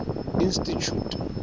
institjhute